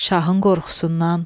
Şahın qorxusundan.